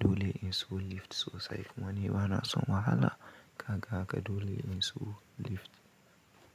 Dole in so lift sosai kuma ni ba na son wahala kaga haka dole in so lift.